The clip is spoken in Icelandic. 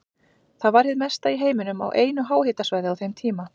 Það var hið mesta í heiminum á einu háhitasvæði á þeim tíma.